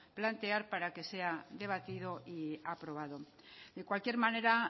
plantear para que sea debatido y aprobado de cualquier manera